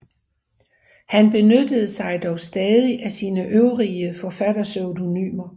Han benyttede sig dog stadig af sine øvrige forfatterpseudonymer